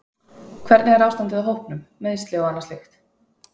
Hvernig er ástandið á hópnum, meiðsli og annað slíkt?